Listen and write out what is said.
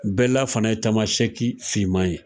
Bɛla fana ye tamasɛki fiman ye.